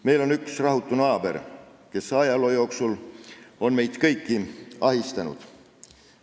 Meil on üks rahutu naaber, kes ajaloo jooksul on meid kõiki ahistanud.